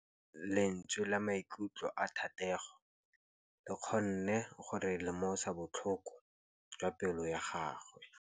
Lentswe la maikutlo a Thategô le kgonne gore re lemosa botlhoko jwa pelô ya gagwe.